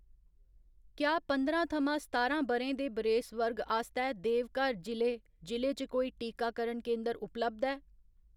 क्या पंदरां थमां सतारां ब'रें दे बरेस वर्ग आस्तै देवघर जि'ले जि'ले च कोई टीकाकरण केंदर उपलब्ध ऐ ?